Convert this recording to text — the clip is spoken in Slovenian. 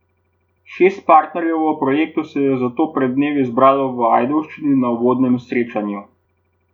Šest partnerjev v projektu se je zato pred dnevi zbralo v Ajdovščini na uvodnem srečanju.